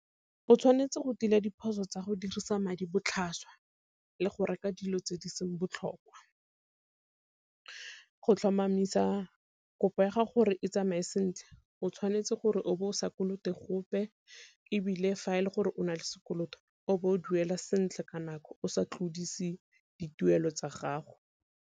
O tshwanetse go tila diphoso tsa go dirisa madi botlhaswa le go reka dilo tse di seng botlhokwa, go tlhomamisa kopo ya gago gore e tsamae sentle o tshwanetse gore o bo o sa kolote gope ebile fa e le gore o nale sekoloto o bo o duela sentle ka nako o sa tlodise dituelo tsa gago.